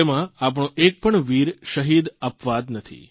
તેમાં આપણો એક પણ વીર શહીદ અપવાદ નથી